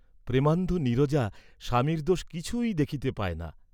প্রেমান্ধ নীরজা স্বামীর দোষ কিছুই দেখিতে পায় না।